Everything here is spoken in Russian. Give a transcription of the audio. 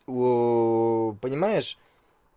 понимаешь